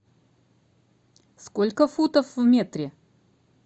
сколько футов в метре